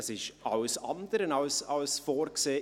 Das ist bei diesem Verfahren alles andere als vorgesehen.